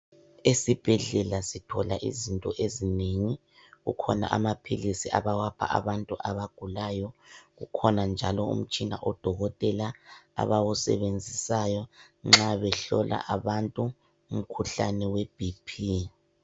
Esibhedlela sithola izinto ezinengi. Kukhona amaphilisi abawapha abantu abagulayo. Kukhona njalo umtshina odokotela abawusebenzisayo nxa behlola abantu umkhuhlane we"BP".